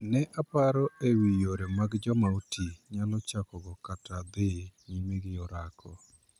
Nee paro e wii yore ma joma otii nyalo chako go kata dhii nyime gi orako.